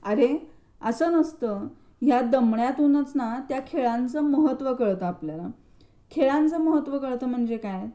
अरे असं नसतं ह्या दमण्यातूनच ना त्या खेळांचे महत्त्व कळतं आपल्याला. खेळांचे महत्त्व कळत म्हणजे काय? तर खेळ का खेळायचे?